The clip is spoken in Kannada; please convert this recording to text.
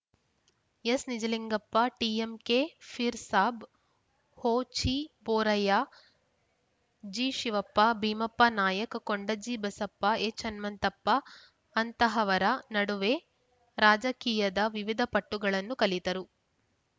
S Nijalingappa TMK Peer Sab Hochiboraiah G Shivappa Bhimappa Nayak Kondajji Basappa H Hanumanthappa ಅಂತಹವರ ನಡುವೆ ರಾಜಕೀಯದ ವಿವಿಧ ಪಟ್ಟುಗಳನ್ನು ಕಲಿತರು